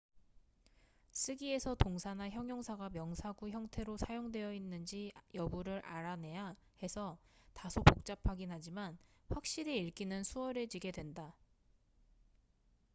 쓰기에서 동사나 형용사가 명사구 형태로 사용되었는지 여부를 알아내야 해서 다소 복잡하긴 하지만 확실히 읽기는 수월해지게 된다